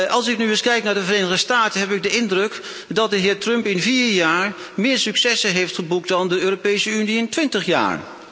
Als ik nu eens kijk naar de Verenigde Staten heb ik de indruk dat de heer Trump in vier jaar meer successen heeft geboekt dan de Europese Unie in 20 jaar.